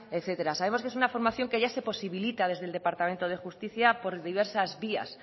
etcétera sabemos que es una formación que ya se posibilita desde el departamento de justicia por diversas vías